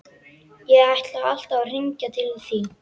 Ég ætlaði alltaf að hringja til þín, Sif.